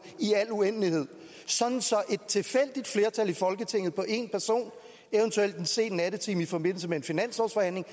i al uendelighed sådan at et tilfældigt flertal i folketinget på én person eventuelt en sen nattetime i forbindelse med en finanslovsforhandling